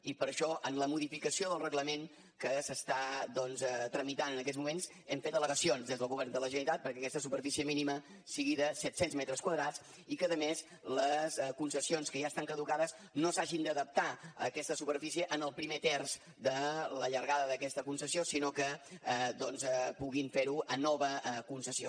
i per això en la modificació del reglament que s’està doncs tramitant en aquests moments hem fet al·legacions dels del govern de la generalitat perquè aquesta superfície mínima sigui de set cents metres quadrats i que a més les concessions que ja estan caducades no s’hagin d’adaptar a aquesta superfície en el primer terç de la llargada d’aquesta concessió sinó que puguin fer ho en nova concessió